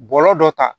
Bɔlɔlɔ dɔ kan